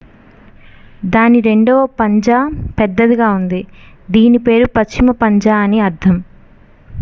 """దాని రెండవ పంజా పెద్దదిగా ఉంది దీని పేరు """పశ్చిమ పంజా""" అని అర్ధం.""